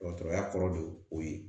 Dɔgɔtɔrɔya kɔrɔ de o ye